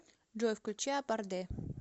джой включи апарде